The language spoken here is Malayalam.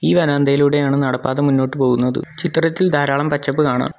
ഈ വരാന്തയിലൂടെയാണ് നടപ്പാത മുന്നോട്ടു പോകുന്നത് ചിത്രത്തിൽ ധാരാളം പച്ചപ്പ് കാണാം.